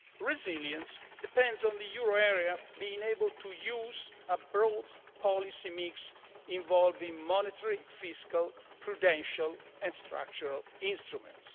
Resilience depends on the euro area being able to use a broad policy mix involving monetary, fiscal, prudential and structural instruments.